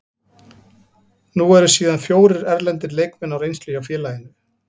Nú eru síðan fjórir erlendir leikmenn á reynslu hjá félaginu.